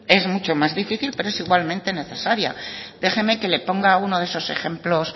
es mucho más difícil pero es igualmente necesaria déjeme que le ponga uno de esos ejemplos